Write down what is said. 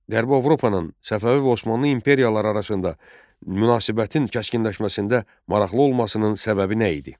Qərbi Avropanın Səfəvi və Osmanlı imperiyaları arasında münasibətin kəskinləşməsində maraqlı olmasının səbəbi nə idi?